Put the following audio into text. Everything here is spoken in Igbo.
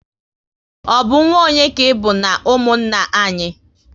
Ọ bụ nwa onye ka ịbụ n'umunna anyị?